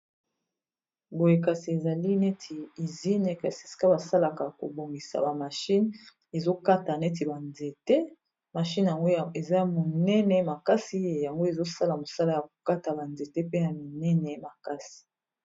boye kasi ezali neti izine kasi seka basalaka kobongisa ba mashine ezokata neti banzete mashine yango eza monene makasi yango ezosala mosala ya kokata banzete pe ya minene makasi.